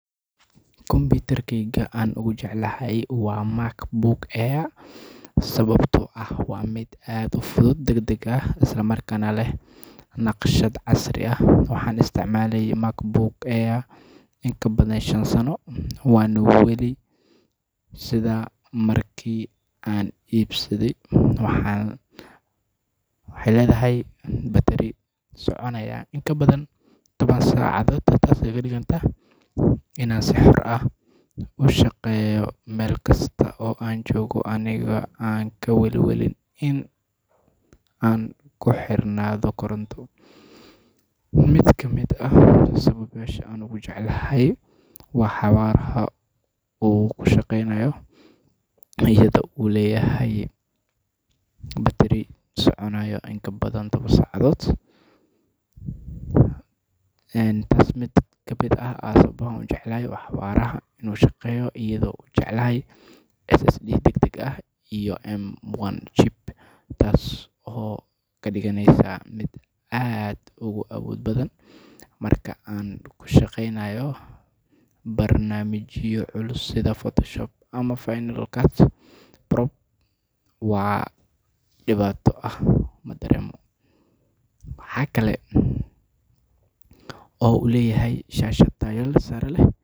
Kombitarkeyka aan ugu jeclahay waa macbook[cs[ sawabto aah waa miid aad uu fudud dagdeg aah islaa markana leeh naqshaad casrii aah waxan isticmalayay macbook iin kaa badaan shaan saano waano waali siida markii aan ibsadey. waxan waxey ledahay batiiri soconaya iin kabadaan tobaan sacadod taaso kaa digaanta inaan sii xoor aah uu shaqeyoo melkasto oo aan jogo aniigo kaa walwaalin iin aan kuu xirnaado korantoo. miid kamiid sawabyasha aan ogu jeclaahay waaxa hoor uu kuu shaqeynaayo iyadoo uu leyahay batiri soconaya iin kabadaan tobaan sacadod. een taas mid kamiid aah aan sawabaha uu jeclahay waa xawaraha inuu shaqeyo iyado uu jeclahay ssd dagdeg aah iyo m1 cheap taaso oo kadiganeysa miid aad uga awood badan marka anku shaqeynayo barnamijyo culus sidaa photoshop ama final cast prob waa dhiibato aah madareemo. waxa kaale oo uu leyahay shashaad taayo saare leh.